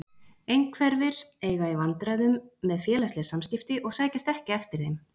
Einhverfir eiga í vandræðum með félagsleg samskipti og sækjast ekki eftir þeim.